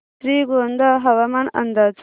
श्रीगोंदा हवामान अंदाज